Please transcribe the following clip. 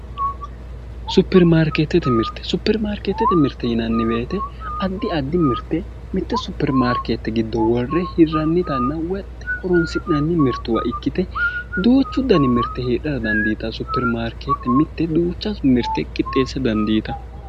Superimarkeettete mirte superimarkeettete mirte yinanni woyiite addi addi mirte mitte Superimarkeette giddo worre hirrannitanna woyi horonsi'nannitanna woyi horonsi'nanni mirte ikkite mitte supperimaarkeette duuchu dani mirte hirraradandiinanni woyi Superimarkeette duuchu dani mirte qixxeessitara dandiitanno